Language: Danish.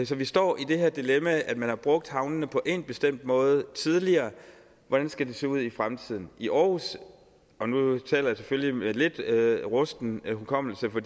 så vi står i det her dilemma at man har brugt havnene på én bestemt måde tidligere og hvordan skal de så se ud i fremtiden i aarhus og nu taler jeg selvfølgelig med lidt rusten hukommelse for